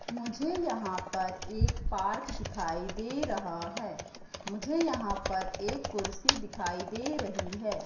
मुझे यहां पर एक पार्क दिखाई दे रहा है मुझे यहां पर एक कुर्सी दिखाई दे रही है।